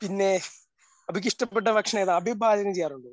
പിന്നെ അഭിക്ക് ഇഷ്ടപ്പെട്ട ഭക്ഷണം ഏതാ അഭി പാചകം ചെയ്യാറുണ്ടോ?